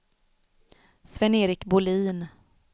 Sven-Erik Bohlin